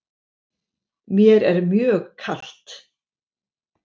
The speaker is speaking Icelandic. Mér er mjög kalt.